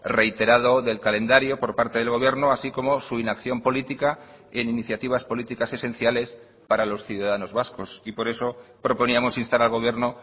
reiterado del calendario por parte del gobierno así como su inacción política en iniciativas políticas esenciales para los ciudadanos vascos y por eso proponíamos instar al gobierno